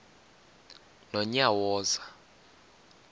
nonyawoza